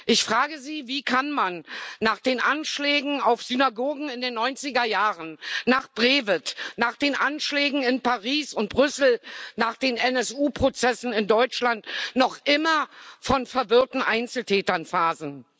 Ich frage Sie Wie kann man nach den Anschlägen auf Synagogen in den Neunzigerjahren, nach Breivik, nach den Anschlägen in Paris und Brüssel, nach den NSU Prozessen in Deutschland noch immer von verwirrten Einzeltätern faseln?